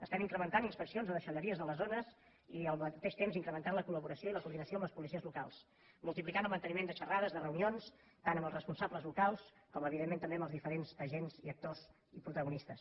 estem incrementant inspeccions a deixalleries de les zones i al mateix temps incrementant la col·laboració i la coordinació amb les policies locals multiplicant el manteniment de xerrades de reunions tant amb els responsables locals com evidentment també amb els diferents agents i actors i protagonistes